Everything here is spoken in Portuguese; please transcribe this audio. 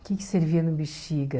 O que servia no Bexiga...